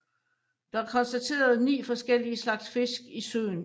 Der er konstateret ni forskellige slags fisk i søen